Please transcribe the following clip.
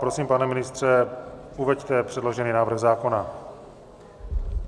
Prosím, pane ministře, uveďte předložený návrh zákona.